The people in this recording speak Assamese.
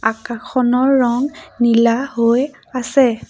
আকাশখনৰ ৰং নীলা হৈ আছে।